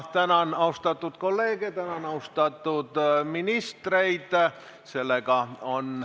Ma tänan austatud kolleege ja ministreid.